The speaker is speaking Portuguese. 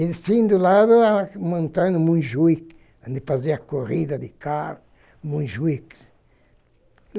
E sim, do lado, a montanha do Montjuic, onde fazia corrida de carros, Montjuic.